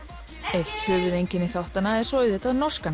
eitt höfuðeinkenni þáttanna er auðvitað norskan